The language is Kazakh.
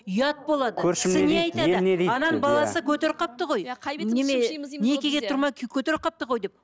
ұят болады ананың баласы көтеріп қалыпты ғой некеге тұрмай көтеріп қалыпты ғой деп